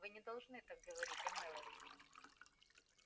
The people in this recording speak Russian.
вы не должны так говорить о мелани